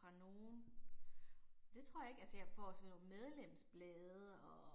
Fra nogen, det tror jeg ikke, altså jeg får sådan nogle medlemsblade og